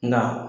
Nka